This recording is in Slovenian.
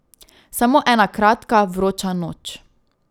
Samo ena kratka, vroča noč.